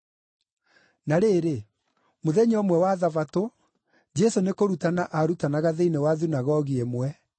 Na rĩrĩ, mũthenya ũmwe wa Thabatũ, Jesũ nĩkũrutana aarutanaga thĩinĩ wa thunagogi ĩmwe,